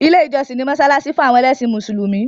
Ilé ìjọsìn ni mọ́ṣáláṣí fún àwọn ẹlẹ́sìn mùsùlùmí.